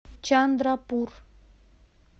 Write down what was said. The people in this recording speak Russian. чандрапур